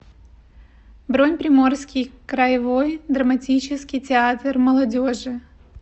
бронь приморский краевой драматический театр молодежи